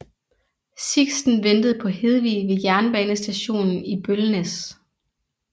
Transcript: Sixten ventede på Hedvig ved jernbanestationen i Bollnäs